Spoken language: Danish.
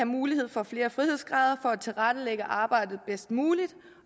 mulighed for flere frihedsgrader for at tilrettelægge arbejdet bedst muligt